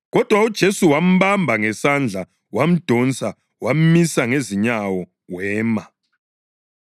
Kodwa uJesu wambamba ngesandla wamdonsa wamisa ngezinyawo wema.